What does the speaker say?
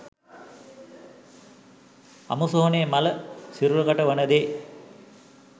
අමුසොහොනේ මළ සිරුරකට වන දේ